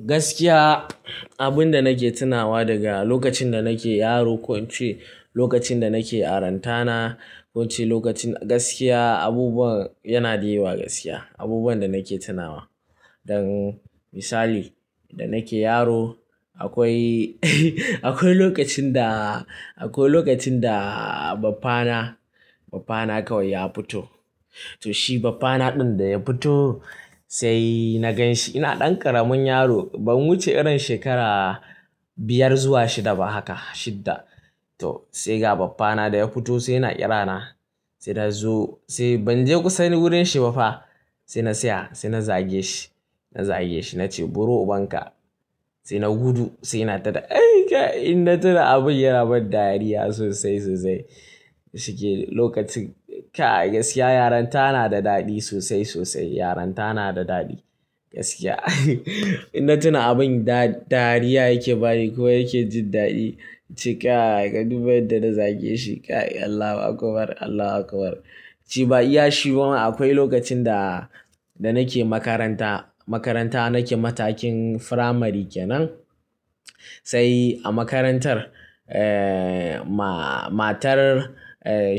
Gaskiya, abin da nake tunawa daga lokacin da nake yaro ko ince lokacin da nake yarantana, ko ince lokacin Gaskiya, abubuwan yana di yawa gaskiya, abubuwan da nake tunawa. Dan misali, da nake yaro akwai, akwai lokacin da, akwai lokacin da baffa na, baffa na kawai ya fito. To shi baffa na ɗin da ya fito, sai na ganshi ina ɗan ƙaramin yaro. Ban wuce irin shekara biyar zuwa shida ba haka, shidda. To sai ga baffana na da ya fito sai yana ƙira na, sai na zo sai ban je kusa wurin shi ba fa. Sai na siya, sai na zage shi, na zage shi na ce "Buro ubanka." Sai na gudu sai na daɗa. Ai ka ina tuna abin yana ban dariya sosai, sosai. Shike lokacin, kai gaskiya yaranta na da daɗi sosai, sosai. Yaranta na da daɗi gaskiya. Ina tuna abin da dariya yake bani ko yake jin daɗi. Ince ka duba yadda na zage shi, kai Allah akubar, Allah akubar. Shi ba iya shi ba ma akwai lokacin da, da nake makaranta, makaranta nake matakin firamari kenan. Sai a makarantar, eh, ma-matar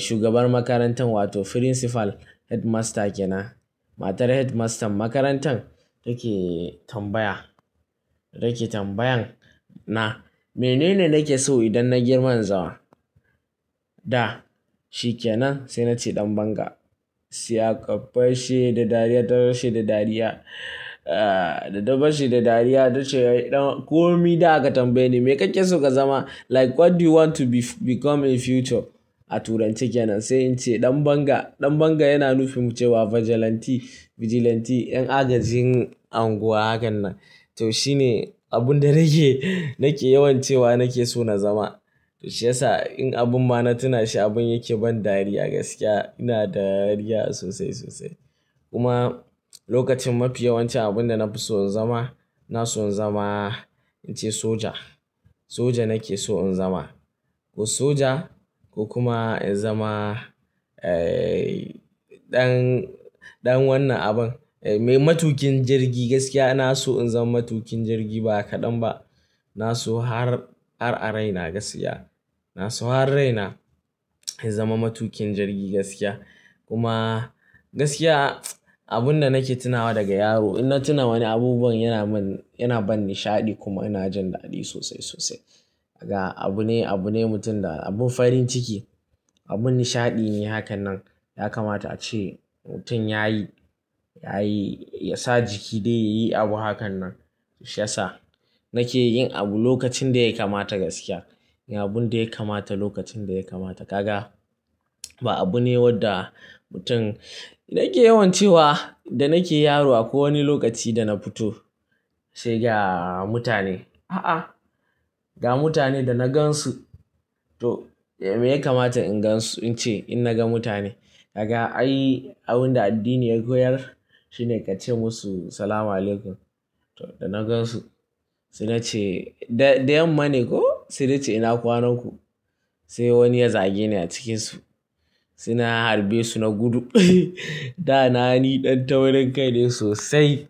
shugaban makarantar wato principal, headmaster kenan. Matar headmaster makarantar take tambaya, take tambayan na "Mene ne nake so idan na girma in zama?" Da shi kenan sai na ce ɗan banga. Sai aka fashe da dariya, ta rushe da dariya. Eh, da ta fashe da dariya ta ce "ko mi daga tambaye ni me kake so ka zama?" Like what do you want to be, become in future? A turanci kenan. Sai in ce ɗan banga. Ɗan banga yana nufin ce wa vigilante, vigilante 'yan agajin unguwa hakan nan. To shine abun da nake, nake yawan cewa nake so na zama. To shiyasa in abin ba na tuna shi abin yake bani dariya gaskiya. Ina da dariya sosai, sosai. Kuma lokacin mafi yawan ci abun da na fi so in zama, na so in zama ince soja. Soja nake so in zama. Ko soja ko kuma in zama, eh, ɗan, ɗan wannan abun. Me matukin jirgi gaskiya na so in zama matukin jirgi ba kaɗan ba. Na so har ar-araina gaskiya. Na so har raina in zama matukin jirgi gaskiya. Kuma gaskiya abun da nake tunawa daga yaro, ina tuna wani abubuwan yana min, yana bani nishaɗi kuma ina jin daɗi sosai, sosai. Daga abu ne, abu ne mutum da abun farin ciki, abun nishaɗi ne hakan nan. Ya kamata a ce mutum yayi, yayi, ya sa jiki dai yayi abu hakan nan. Shiyasa nake yin abu lokacin da ya kamata gaskiya. Yi abun da ya kamata lokacin da ya kamata. Kaga, ba abu ne wadda mutum na ke yawan cewa da nake yaro akwai wani lokaci da na fito, sai ga mutane, a'a, ga mutane da na gansu. To me ya kamata in gansu? Ince in na ga mutane, daga ai abun da addini ya koyar shine ka ce musu "Salamu alaykum." To da na gansu sai nace da, da yamma ne ko sai nace ce "ina kwanan ku?" Sai wani ya zage ni a cikinsu. Sai na harbe su na gudu. Da na ni ɗan taurinkai ne sosai.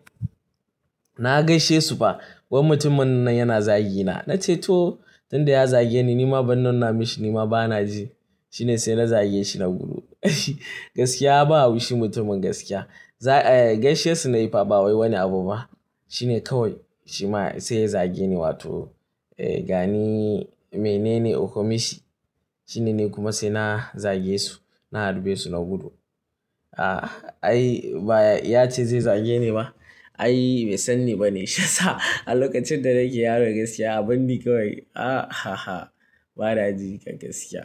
Na gaishe su fa, wai mutumin nan yana zagi na. Na ce to tun da ya zage ni nima ban nuna mishi nima bana ji. Shine sai na zage shi na gudu. Gaskiya babu shi mutumin gaskiya. Za, eh, gaishe su na yi fa ba wani abu ba. Shine kawai shi ma sai ya zage ni wato, eh, ga ni mene ne uku mishi. Shine ne kuma sai na zage su, na harbe su na gudu. A'a, ai ba ya ce zai zage ni ba. Ai bai san ni ba ne. Shiyasa a lokacin da nake yaro gaskiya abun ni kawai, a ha ha, bana ji kan gaskiya.